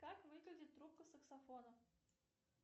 как выглядит трубка саксофона